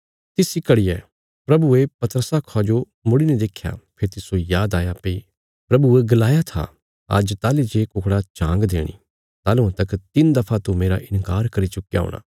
तिसा इ घड़िया प्रभुये पतरसा खा जो मुड़ीने देख्या फेरी तिस्सो याद आया भई प्रभुये गलाया था आज्ज ताहली जे कुकड़ा झांग देणी ताहलुआं तक तिन्न दफा तू मेरा इन्कार करी चुक्कया हूणा